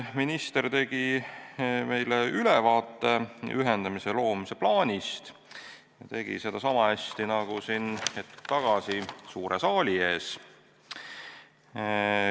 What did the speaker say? Minister tegi meile ülevaate ühendamise plaanist ja tegi seda sama hästi nagu hetk tagasi siin suure saali ees.